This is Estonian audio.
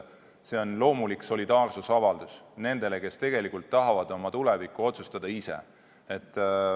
See on loomulik solidaarsusavaldus nendele, kes tegelikult tahavad oma tulevikku otsustada ise.